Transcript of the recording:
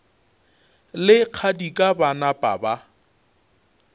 le kgadika ba napa ba